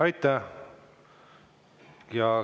Aitäh!